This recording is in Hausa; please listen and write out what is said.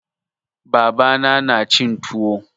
Baba na na cin tuwo.